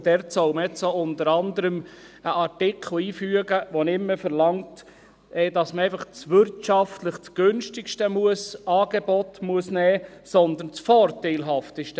Dort soll man jetzt unter anderem einen Artikel einfügen, der nicht mehr verlangt, dass man einfach das wirtschaftlich günstigste Angebot nehmen muss, sondern das vorteilhafteste.